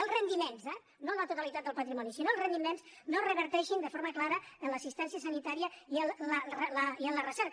els rendi·ments eh no la totalitat del patrimoni sinó els ren·diments no reverteixin de forma clara en l’assistència sanitària i en la recerca